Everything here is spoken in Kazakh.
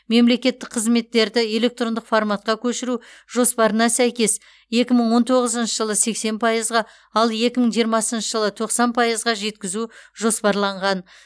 мемлекеттік қызметтерді электрондық форматқа көшіру жоспарына сәйкес екі мың он тоғызыншы жылы сексен пайызға ал екі мың жиырмасыншы жылы тоқсан пайызға жеткізу жоспарланған